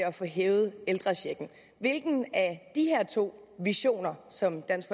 at få hævet ældrechecken hvilken af de her to visioner som dansk